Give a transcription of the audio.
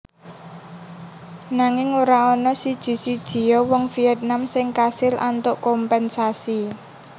Nanging ora ana siji sijiya wong Vietnam sing kasil antuk kompénsasi